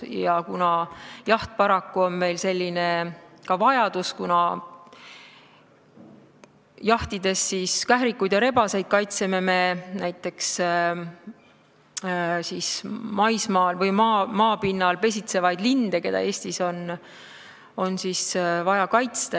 Jaht on paraku meil vajadus, kuna jahtides kährikuid ja rebaseid kaitseme me näiteks maismaal või maapinnal pesitsevaid linde, keda Eestis on vaja kaitsta.